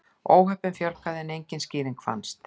Óhöppunum fjölgaði en engin skýring fannst.